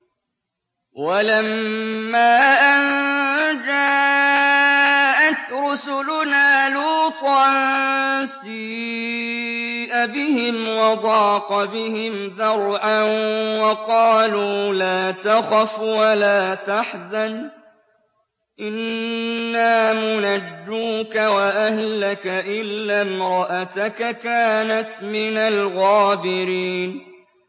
وَلَمَّا أَن جَاءَتْ رُسُلُنَا لُوطًا سِيءَ بِهِمْ وَضَاقَ بِهِمْ ذَرْعًا وَقَالُوا لَا تَخَفْ وَلَا تَحْزَنْ ۖ إِنَّا مُنَجُّوكَ وَأَهْلَكَ إِلَّا امْرَأَتَكَ كَانَتْ مِنَ الْغَابِرِينَ